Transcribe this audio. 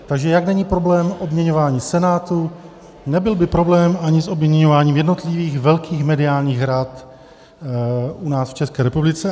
Takže jak není problém obměňování Senátu, nebyl by problém ani s obměňováním jednotlivých velkých mediálních rad u nás v České republice.